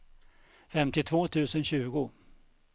femtiotvå tusen tjugo